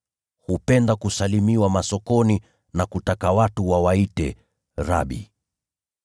Hupenda kusalimiwa masokoni na kutaka watu wawaite ‘Rabi.’